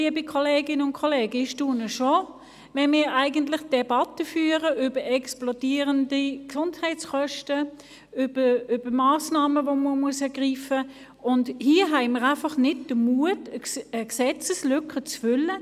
Liebe Kolleginnen und Kollegen, ich staune, wenn wir eine Debatte über explodierende Gesundheitskosten und über Massnahmen, welche ergriffen werden müssen, führen und hier nicht den Mut haben, die vorliegende Gesetzeslücke zu füllen.